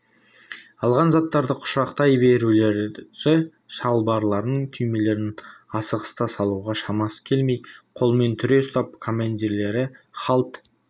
алған заттарды құшақтай біреулері шалбарының түймелерін асығыста салуға шамасы келмей қолымен түре ұстап командирлерінің һалт